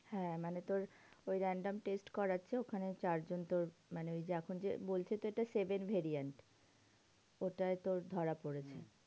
হ্যাঁ মানে তোর ওই random test করাচ্ছে ওখানে চারজন তোর মানে ওই যে এখন যে বলছে যেটা second variant ওটায় তোর ধরা পড়েছে।